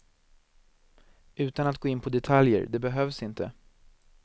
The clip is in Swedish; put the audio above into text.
Utan att gå in på detaljer, det behövs inte.